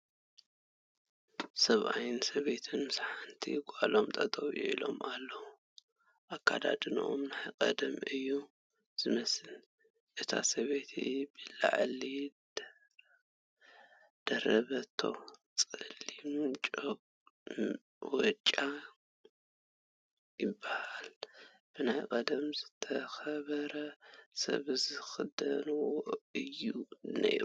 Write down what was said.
ሰብኣይን ሰበይትን ምስ ሓንቲ ጋሎም ጠጠው ኢሎም ኣለዉ ኣካዳድነኦም ናይ ቐደም እዩ ዝመስል ፡ እታ ሰበይቲ ብላዕሊ ዝደረበቶ ፀሊም ወጮ ይበሃል ብናይ ቐደም ዝተኸበረየ ሰባት ዝኽደንዎ እዩ ነይሩ ።